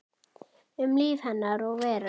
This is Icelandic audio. Um líf hennar og veröld.